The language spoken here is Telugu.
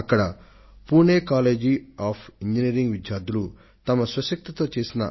అక్కడ పుణె కాలేజ్ ఆఫ్ ఇంజినీరింగ్ విద్యార్థులతో భేటీ అయ్యాను